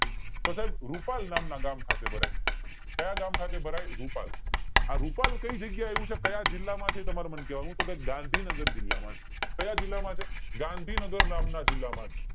તો સાઇબ રૂપાલ નામ ગામ ખાતે ભરાય છે કાયા ગામ ખાતે ભરાય રૂપાલ આ રૂપાલ કય જગ્યા એ આવ્યું છે ક્યાં જિલ્લા માં છે તમારે મને કેવાનું છે તો કે ગાંધીનગર જિલ્લા માં છે ક્યાં જિલ્લા માં છે ગાંધીનગર નામ ના જિલ્લા માં છે